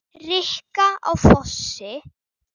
Rikka á Fossi!